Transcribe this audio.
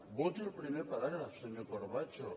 voti el primer paràgraf senyor corbacho